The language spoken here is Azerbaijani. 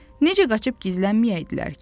Necə qaçıb gizlənməyəydilər ki?